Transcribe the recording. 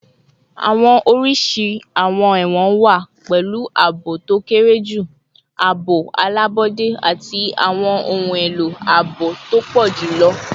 Awọn oriṣi awọn ẹwọn wa, pẹlu aabo to kere ju, aabo alabọde, ati awọn ohun elo aabo to pọ julọ